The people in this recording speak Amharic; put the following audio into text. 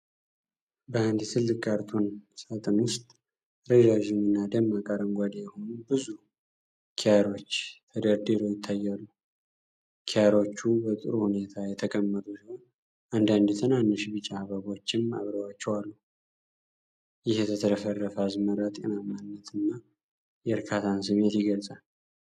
በአንድ ትልቅ ካርቶን ሳጥን ውስጥ ረዣዥም እና ደማቅ አረንጓዴ የሆኑ ብዙ ኪያሮች ተደርድረው ይታያሉ። ኪያሮቹ በጥሩ ሁኔታ የተቀመጡ ሲሆን፣ አንዳንድ ትናንሽ ቢጫ አበቦችም አብረዋቸው አሉ። ይህ የተትረፈረፈ አዝመራ ጤናማነትንና የእርካታን ስሜት ይገልጻል።